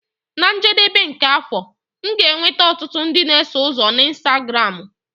Na njedebe nke afọ, m ga-enweta ọtụtụ ndị na-eso ụzọ na Instagramu.